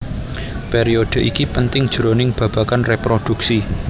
Periodhe iki penting jroning babagan reproduksi